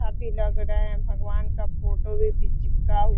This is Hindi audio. अभी लग रहा हैं भगवान का फोटो भी चिपका हु --